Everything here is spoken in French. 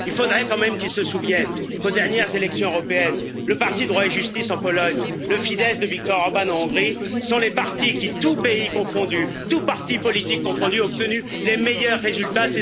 Il faudrait quand même qu'ils se souviennent qu'aux dernières élections européennes, le parti Droit et Justice en Pologne, le Fidesz de Viktor Orbán en Hongrie, sont les partis qui, tous pays confondus, tous partis politiques confondus, ont obtenu les meilleurs résultats.